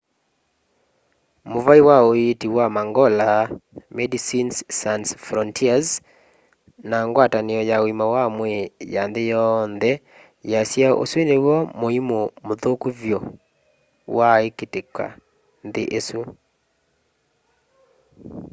muvai wa uiiti wa mangola medicines sans frontieres na ngwatanio ya uima wa mwii ya nthi yonthe siasya usu niw'o muimu muthuku vyu waakitika nthi isu